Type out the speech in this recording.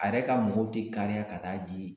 A yɛrɛ ka mɔgɔw tɛ kariya ka t'a di